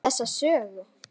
Þessa sögu.